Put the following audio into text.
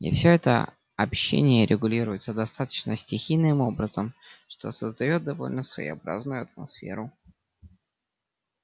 и всё это общение регулируется достаточно стихийным образом что создаёт довольно своеобразную атмосферу